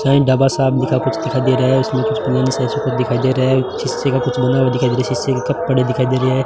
उसमें कुछ दिखाई दे रहे है कप पड़े दिखाई दे रहे है।